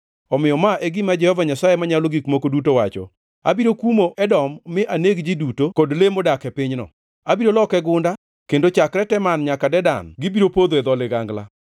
omiyo ma e gima Jehova Nyasaye Manyalo Gik Moko Duto wacho: Abiro kumo Edom mi aneg ji duto kod le modak e pinyno. Abiro loke gunda, kendo chakre Teman nyaka Dedan gibiro podho e dho ligangla.